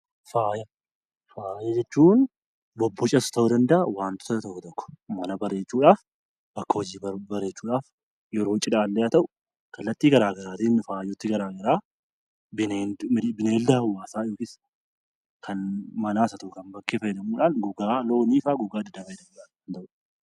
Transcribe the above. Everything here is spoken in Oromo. Faaya . Faaya jechuun bobbocas ta'uu danda'aa wantoota tokko tokko, mana bareechuudhaaf, bakka hojii bareechuudhaaf yeroo cidhaallee haa ta'uu kallattii garaa garaatiin faaya garaa garaa bineelda hawwaasaas haa ta'u kan manaas haa ta'u; kan bakkee gogaa loonii fa'aa fayyadamuun.